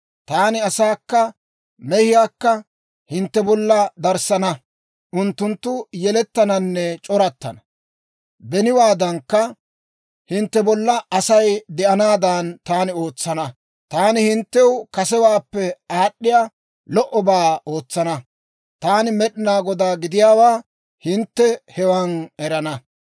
Taani asaakka mehiyaakka hintte bolla darissana; unttunttu yelettananne c'orattana. Beniwaadankka hintte bolla Asay de'anaadan taani ootsana. Taani hinttew kasewaappe aad'd'iyaa lo"obaa ootsana. Taani Med'inaa Godaa gidiyaawaa hintte hewan erana.